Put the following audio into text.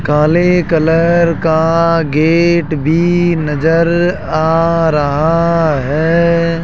काले कलर का गेट भी नजर आ रहा है।